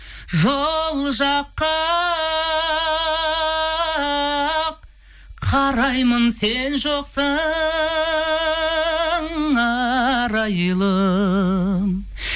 жол жаққа қараймын сен жоқсың арайлым